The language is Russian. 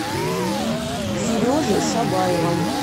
сережи шабаева